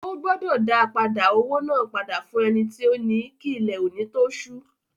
Ó gbọdọ̀ dá padà owó náà padà fún ẹni tí ó ni kí ilẹ̀ òní tó sú.